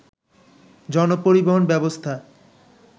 জনপরিবহন ব্যবস্থা